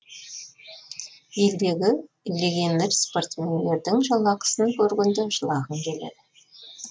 елдегі легионер спортсмендердің жалақысын көргенде жылағың келеді